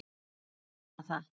Maður vonar það.